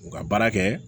U ka baara kɛ